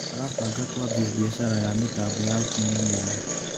Tũrabanga kũambia mbiacara ya mĩtambo ya ũkinyanĩria.